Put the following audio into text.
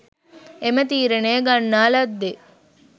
එම තීරණය ගන්නා ලද්දේ